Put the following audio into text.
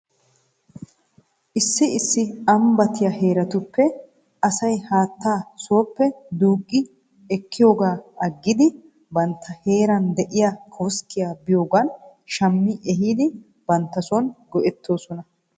Issi issi ambbattiyaa heeratuura asay haataa sooppe duuqi ekkiyoogaa agidi bantta heera de'iyaa koskkiyaa biyoogan shammi ehidi bantta son go'etoosona.